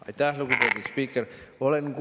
Aitäh, lugupeetud spiiker!